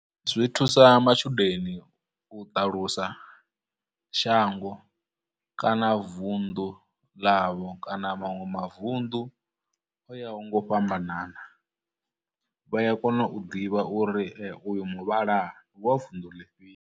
Zwi thusa matshudeni u ṱalusa shango kana vunḓu ḽavho, kana manwe mavuṋdu o yaho ngo fhambanana, vha ya kona u ḓivha uri uyu muvhala ndi wa vunḓu ḽifhio.